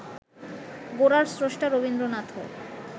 গোরার স্রষ্টা রবীন্দ্রনাথও